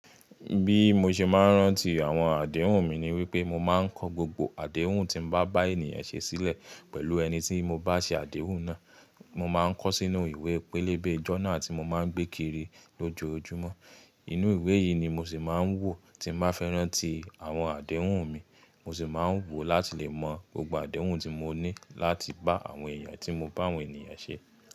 Bí mo ṣe máa ń rántí àwọn àdéhùn mi ni wípé mo máa ń kọ gbogbo àdéhùn tí mo bá bá ènìyàn ṣe sílẹ̀ pẹ̀lú ẹni tí mo bá ṣe àdéhùn náà. Mo máa ń kọ sínú ìwé pélébé ìjọ́ná tí mo máa ń gbé kiri lójoojúmọ́. Inú ìwé yìí ni mo sì máa ń wò tí mo bá fẹ́ rántí àwọn àdéhùn mi. Mo sì máa ń wò láti lè mọ gbogbo àdéhùn tí mo ní láti bá àwọn èèyàn tí mo bá àwọn ènìyàn ṣe.